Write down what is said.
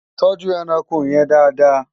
tọjú ẹranko yèn Dàda